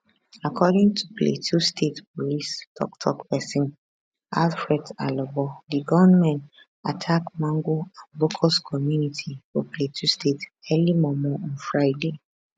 according to plateau state police toktok pesin alfred alabo di gunmen attack magun and bokkos community for plateau state early mormor on friday